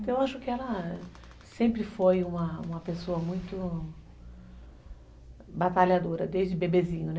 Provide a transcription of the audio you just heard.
Então eu acho que ela sempre foi uma uma pessoa muito batalhadora, desde bebezinho, né?